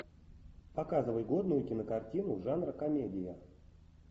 показывай годную кинокартину жанр комедия